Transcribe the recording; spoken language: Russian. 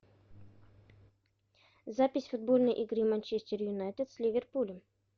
запись футбольной игры манчестер юнайтед с ливерпулем